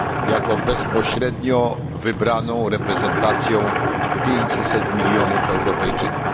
jako bezpośrednio wybraną reprezentacją pięciuset milionów Europejczyków.